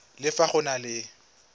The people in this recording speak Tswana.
le fa go na le